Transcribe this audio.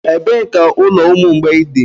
Ebee ka ụlọ ụmụ mgbei dị?